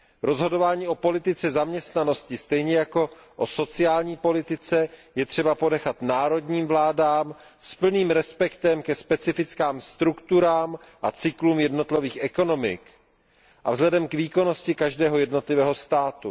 Rozhodování o politice zaměstnanosti stejně jako o sociální politice je třeba ponechat národním vládám s plným respektem ke specifickým strukturám a cyklům jednotlivých ekonomik a k výkonnosti každého jednotlivého státu.